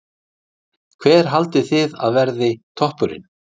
Gísli: Hver haldið þið að verði toppurinn?